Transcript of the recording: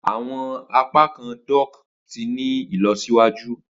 Awọn apakan dock ti ni ilọsiwaju.